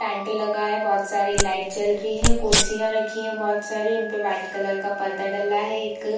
tent लगा है बहुत सारी लाइट जल रही है कुर्सियाँ रखी हैं बहुत सारी उनपे वाइट कलर का पर्दा डला है एक --